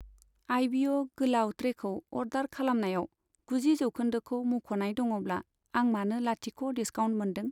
आइविय' गोलाव ट्रेखौ अर्डार खालामनायाव गुजि जौखोन्दोखौ मुंख'नाय दङब्ला, आं मानो लाथिख' डिसकाउन्ट मोनदों।